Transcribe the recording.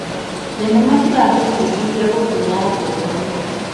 Thenema ciratũbundithia gũtĩa ngũrani.